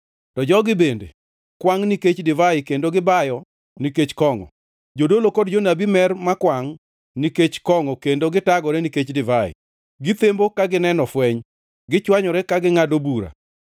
To jogi bende kwangʼ nikech divai kendo gibayo nikech kongʼo: Jodolo kod jonabi mer makwangʼ nikech kongʼo kendo gitagore nikech divai, githembo ka gineno fweny, gichwanyore ka gingʼado bura.